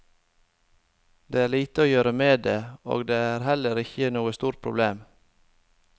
Det er lite å gjøre med det, og det er heller ikke noe stort problem.